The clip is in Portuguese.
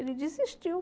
Ele desistiu.